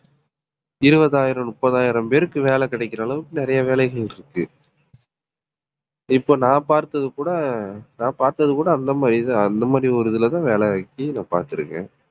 இருபதாயிரம் முப்பதாயிரம் பேருக்கு வேலை கிடைக்கிற அளவுக்கு நிறைய வேலைகள் இருக்கு இப்ப நான் பார்த்தது கூட நான் பார்த்தது கூட அந்த மாதிரிதான் அந்த மாதிரி ஒரு இதுலதான் வேலைக்கி நான் பார்த்திருக்கேன்.